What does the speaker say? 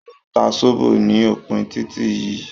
Wọ́n ń ta sóbó ní opin títí yìí